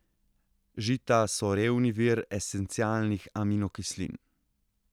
Žita so revni vir esencialnih aminokislin.